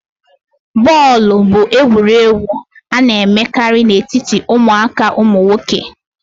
bọọlụ bụ egwuregwu a na-emekarị na etiti ụmụaka ụmụ nwoke